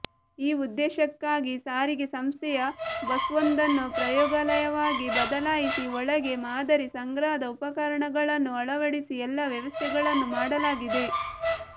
ಈ ಉದ್ದೇಶಕ್ಕಾಗಿ ಸಾರಿಗೆ ಸಂಸ್ಥೆಯ ಬಸ್ವೊಂದನ್ನು ಪ್ರಯೋಗಾಲಯವಾಗಿ ಬದಲಾಯಿಸಿ ಒಳಗೆ ಮಾದರಿ ಸಂಗ್ರಹದ ಉಪಕರಣಗಳನ್ನು ಅಳವಡಿಸಿ ಎಲ್ಲ ವ್ಯವಸ್ಥೆಗಳನ್ನು ಮಾಡಲಾಗಿದೆ